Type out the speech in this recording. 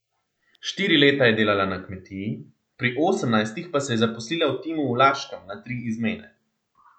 Štiri leta je delala na kmetiji, pri osemnajstih pa se je zaposlila v Timu v Laškem na tri izmene.